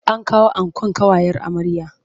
An kawo ankon ƙawayen amryar.